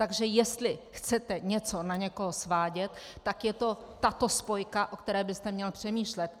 Takže jestli chcete něco na někoho svádět, tak je to tato spojka, o které byste měl přemýšlet.